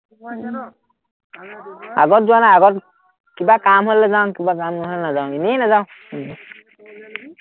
আগত যোৱা নাই, আগত কিবা কাম হ'লে যাওঁ, কিবা কাম নহ'লে নাযাওঁ, এনে নাযাওঁ।